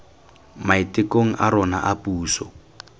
maitekong a rona a puso